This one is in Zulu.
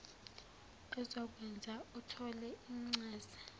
ezokwenza uthole incaze